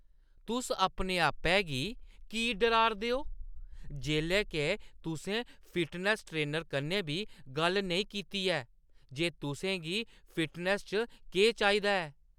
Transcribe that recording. तुस अपने आपै गी की डराऽ 'रदे ओ जेल्लै के तुसें फिटनैस्स ट्रेनर कन्नै बी गल्ल नेईं कीती ऐ जे तुसें गी फिटनैस्स च केह् चाहिदा ऐ?